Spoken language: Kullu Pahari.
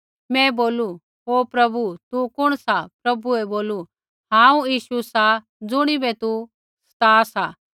मैं बोलू हे प्रभु तू कुण सा प्रभुऐ बोलू हांऊँ यीशु सा ज़ुणिबै तू सता सा